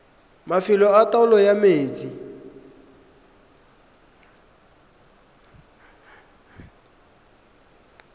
mafelo a taolo ya metsi